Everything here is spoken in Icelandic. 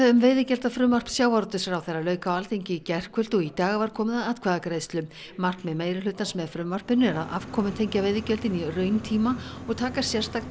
um veiðigjaldafrumvarp sjávarútvegsráðherra lauk á Alþingi í gærkvöld og í dag var komið að atkvæðagreiðslu markmið meirihlutans með frumvarpinu er að afkomutengja veiðigjöldin í rauntíma og taka sérstakt